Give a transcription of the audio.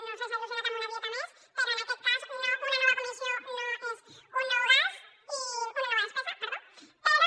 no ho sé s’ha il·lusionat amb una dieta més però en aquest cas una nova comissió no és una nova despesa però